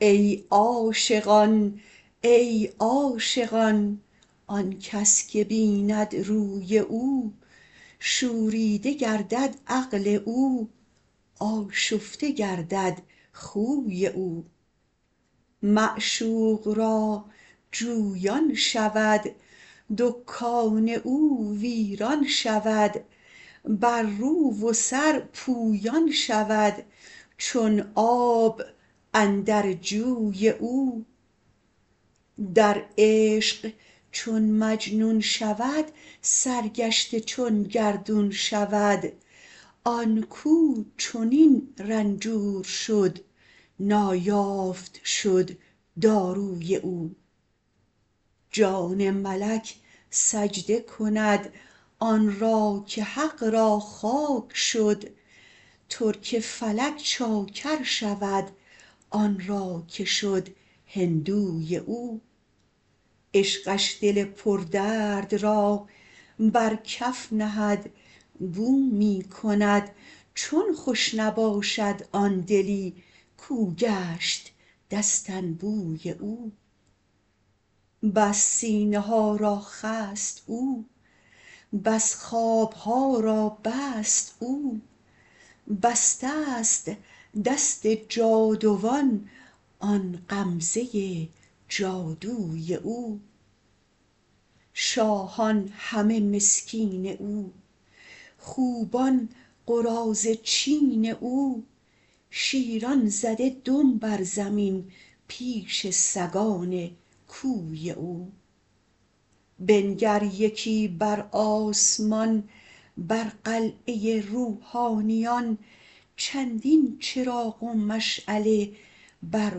ای عاشقان ای عاشقان آن کس که بیند روی او شوریده گردد عقل او آشفته گردد خوی او معشوق را جویان شود دکان او ویران شود بر رو و سر پویان شود چون آب اندر جوی او در عشق چون مجنون شود سرگشته چون گردون شود آن کو چنین رنجور شد نایافت شد داروی او جان ملک سجده کند آن را که حق را خاک شد ترک فلک چاکر شود آن را که شد هندوی او عشقش دل پردرد را بر کف نهد بو می کند چون خوش نباشد آن دلی کو گشت دستنبوی او بس سینه ها را خست او بس خواب ها را بست او بسته ست دست جادوان آن غمزه جادوی او شاهان همه مسکین او خوبان قراضه چین او شیران زده دم بر زمین پیش سگان کوی او بنگر یکی بر آسمان بر قلعه روحانیان چندین چراغ و مشعله بر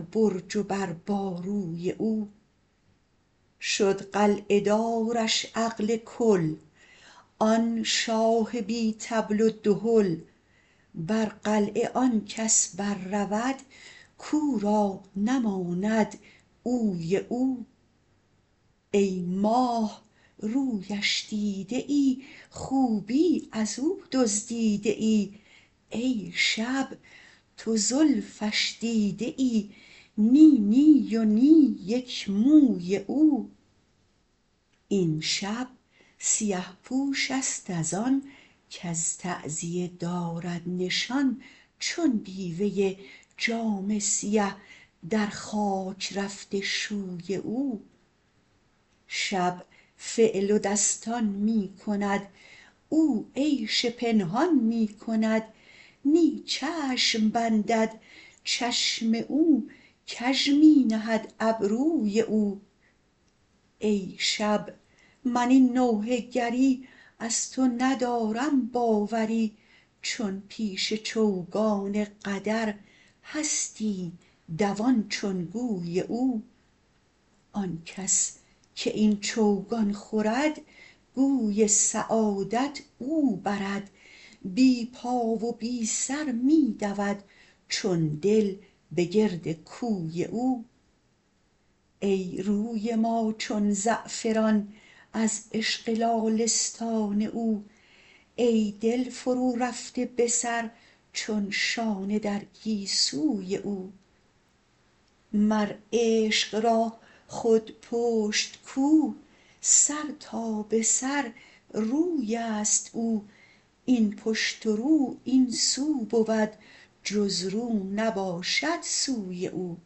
برج و بر باروی او شد قلعه دارش عقل کل آن شاه بی طبل و دهل بر قلعه آن کس بررود کو را نماند اوی او ای ماه رویش دیده ای خوبی از او دزدیده ای ای شب تو زلفش دیده ای نی نی و نی یک موی او این شب سیه پوش است از آن کز تعزیه دارد نشان چون بیوه ای جامه سیه در خاک رفته شوی او شب فعل و دستان می کند او عیش پنهان می کند نی چشم بندد چشم او کژ می نهد ابروی او ای شب من این نوحه گری از تو ندارم باوری چون پیش چوگان قدر هستی دوان چون گوی او آن کس که این چوگان خورد گوی سعادت او برد بی پا و بی سر می دود چون دل به گرد کوی او ای روی ما چون زعفران از عشق لاله ستان او ای دل فرورفته به سر چون شانه در گیسوی او مر عشق را خود پشت کو سر تا به سر روی است او این پشت و رو این سو بود جز رو نباشد سوی او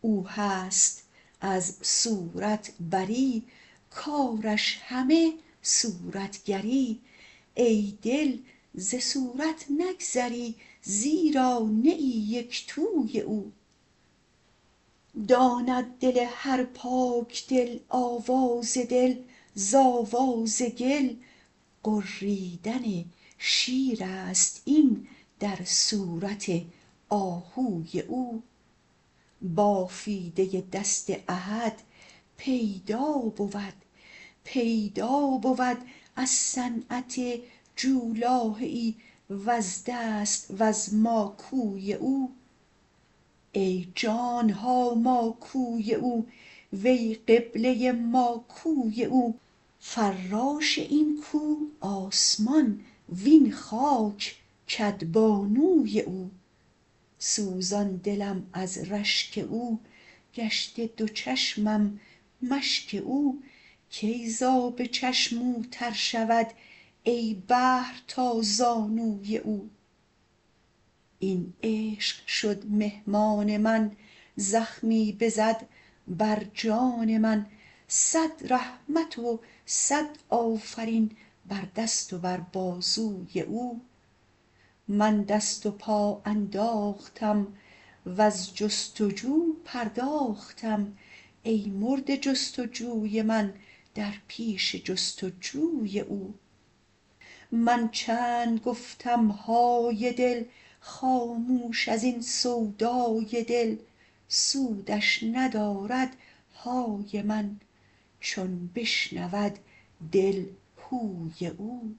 او هست از صورت بری کارش همه صورتگری ای دل ز صورت نگذری زیرا نه ای یک توی او داند دل هر پاک دل آواز دل ز آواز گل غریدن شیر است این در صورت آهوی او بافیده دست احد پیدا بود پیدا بود از صنعت جولاهه ای وز دست وز ماکوی او ای جان ما ماکوی او وی قبله ما کوی او فراش این کو آسمان وین خاک کدبانوی او سوزان دلم از رشک او گشته دو چشمم مشک او کی ز آب چشم او تر شود ای بحر تا زانوی او این عشق شد مهمان من زخمی بزد بر جان من صد رحمت و صد آفرین بر دست و بر بازوی او من دست و پا انداختم وز جست و جو پرداختم ای مرده جست و جوی من در پیش جست و جوی او من چند گفتم های دل خاموش از این سودای دل سودش ندارد های من چون بشنود دل هوی او